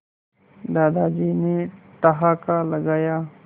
दादाजी ने ठहाका लगाया